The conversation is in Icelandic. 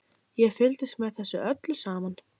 Ég fylgdist með þessu öllu saman.